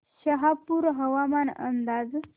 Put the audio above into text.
शहापूर हवामान अंदाज